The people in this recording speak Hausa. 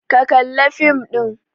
Ka kalla fim ɗin!